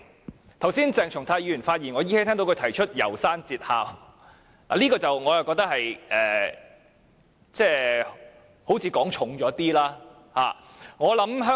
我依稀聽到鄭松泰議員剛才發言時提到《楢山節考》，我覺得這有點言重了。